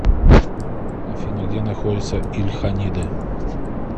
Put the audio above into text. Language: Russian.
афина где находится ильханиды